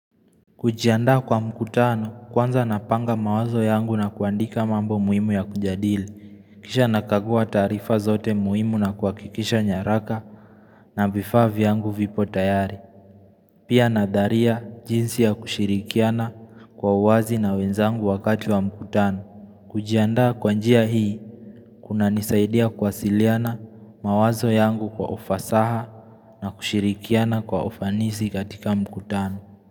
Kujiandaa kwa mkutano, kwanza napanga mawazo yangu na kuandika mambo muhimu ya kujadili. Kisha nakagua tarifa zote muhimu na kuhakikisha nyaraka na vifaa vyangu vipo tayari. Pia nadharia jinsi ya kushirikiana kwa uwazi na wenzangu wakati wa mkutano. Kujiandaa kwa njia hii, kunanisaidia kwasiliana mawazo yangu kwa ufasaha na kushirikiana kwa ufanisi katika mkutano.